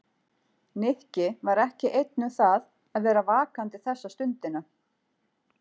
Nikki var ekki einn um það að vera vakandi þessa stundina.